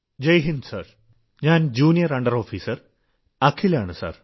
ജയ് Hind sir ഞാൻ junior under officer Akhil ആണ് sir